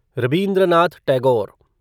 Rabindranath Tagore